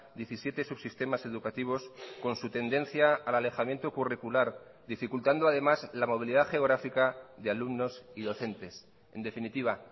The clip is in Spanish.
diecisiete subsistemas educativos con su tendencia al alejamiento curricular dificultando además la movilidad geográfica de alumnos y docentes en definitiva